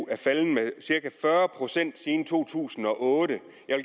er faldet med cirka fyrre procent siden to tusind og otte